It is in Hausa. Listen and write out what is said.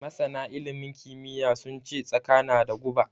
Masana ilimin kimiyya sun ce Tsaka na da guba.